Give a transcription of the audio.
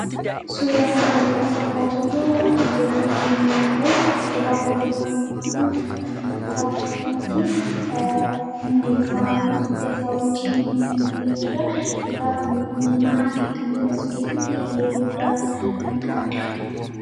Suuraa kanarratti kan argaa jirru qullubbii diimaa yoo ta'u, egaa qullubbiin diimaa kun akkuma isa buqqisanitti hundee isaa fi hidda isaa wajjin mul'ate jechuu dha. Egaa qullubbiin diimaa ittoo mi'eessuu keessatti gahee guddaa kan qabu dha.